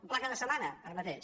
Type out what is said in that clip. un pla cada setmana ara mateix